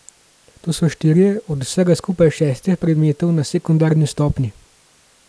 To so štirje od vsega skupaj šestih predmetov na sekundarni stopnji.